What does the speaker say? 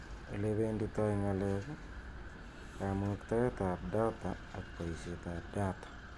Olebenditoi ng'alek ,kamuktaet ab data ak boishet ab data.